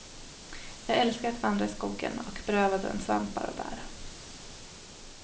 Jag älskar att vandra i skogen och beröva den svampar och bär.